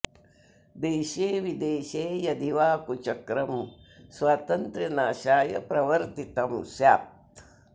देशे विदेशे यदि वा कुचक्रं स्वातन्त्र्य नाशाय प्रवर्तितं स्यात्